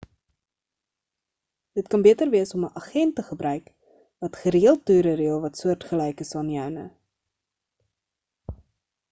dit kan beter wees om 'n agent te gebruik wat gereeld toere reël wat soortgelyk is aan joune